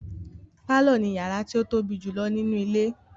Pálọ̀ ni yàrá tí ó tóbi jùlọ nínú ilé.